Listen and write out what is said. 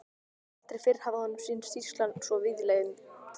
Aldrei fyrr hafði honum sýnst sýslan svo víðlend.